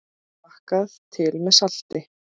Smakkað til með salti.